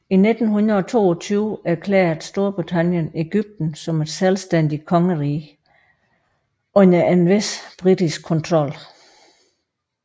I 1922 erklærede Storbritannien Egypten som et selvstændigt kongerige under en vis britisk kontrol